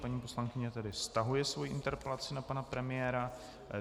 Paní poslankyně tedy stahuje svoji interpelaci na pana premiéra.